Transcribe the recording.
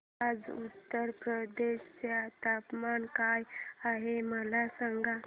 आज उत्तर प्रदेश चे तापमान काय आहे मला सांगा